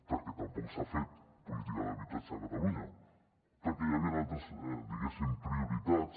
perquè tampoc s’ha fet política d’habitatge a catalunya perquè hi havien altres diguéssim prioritats